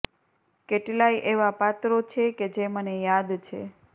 કેટલાંય એવાં પાત્રો છે કે જે મને યાદ છે